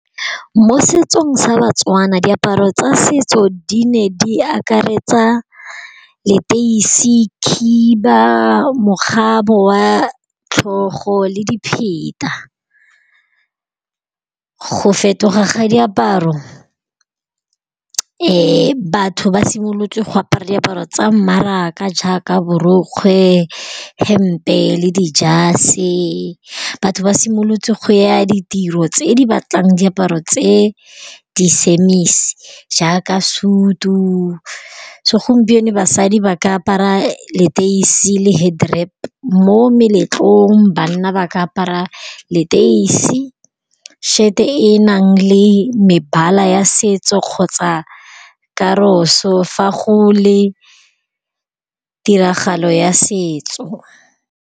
Mo setsong sa baTswana diaparo tsa setso di ne di akaretsa leteisi, khiba, mokgabo wa tlhogo, le dipheta, go fetoga ga diaparo batho ba simolotse go apara diaparo tsa mmaraka jaaka borokgwe, hempe, le dijase batho ba simolotse go ya ditiro tse di batlang diaparo tse di jaaka suit-u, segompieno basadi ba ka apara leteisi le head rap mo meletlong banna ba ka apara leteisi shet-e e nang le mebala ya setso kgotsa karoso fa go le tiragalo ya setso.